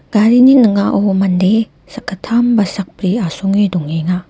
garini ning·ao mande sakgittam ba sakbri asonge dongenga.